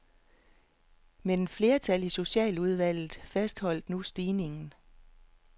Men et flertal i socialudvalget fastholder nu stigningen.